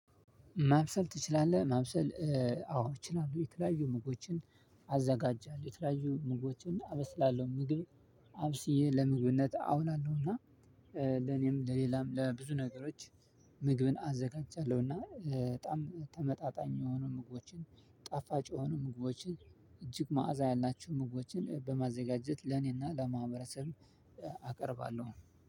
ማብሰል ትችላለህ? ማብሰል አዎ እችላለሁ የተለያዩ ምግቦችን አዘጋጃለሁ። የተለያዩ ምግቦችን እና አበስላለሁ ምግብ አብስዬ ለምግብነት አውላለሁና። ለኔም ለሌላም ለብዙ ነገሮች ምግብን አዘጋጃለሁ። እና በጣም ተመጣጣኝ የሆኑ ምግቦችን ጣፋጭ የሆኑ ምግቦችን እጅግ መዓዛ ያላችሁ ምግቦችን በማዘጋጀት ለኔና ለማህበረሰብ አቀርባለሁ።